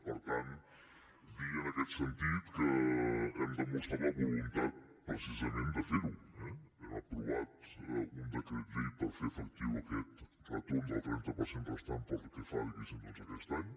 per tant dir en aquest sentit que hem demostrat la voluntat precisament de fer ho eh hem aprovat un decret llei per fer efectiu aquest retorn del trenta per cent restant pel que fa diguéssim a aquest any